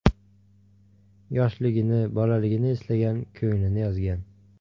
Yoshligini, bolaligini eslagan, ko‘nglini yozgan.